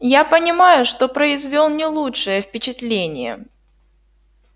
я понимаю что произвёл не лучшее впечатление